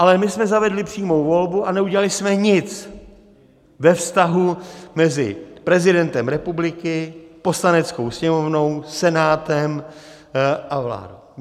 Ale my jsme zavedli přímou volbu a neudělali jsme nic ve vztahu mezi prezidentem republiky, Poslaneckou sněmovnou, Senátem a vládou.